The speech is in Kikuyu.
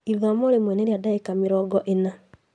Ithomo rĩmwe nĩ rĩa ndagĩka mĩrongo ĩna